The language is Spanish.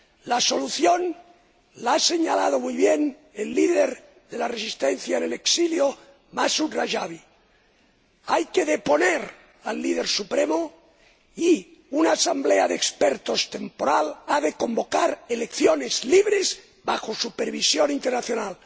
La solución la ha señalado muy bien el líder de la resistencia en el exilio, Masud Rajavi hay que deponer al Líder Supremo y una asamblea de expertos temporal ha de convocar elecciones libres bajo supervisión internacional.